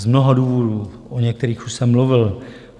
Z mnoha důvodů, o některých už jsem mluvil.